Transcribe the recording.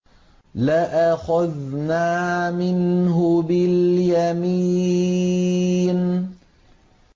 لَأَخَذْنَا مِنْهُ بِالْيَمِينِ